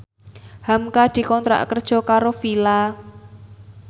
hamka dikontrak kerja karo Fila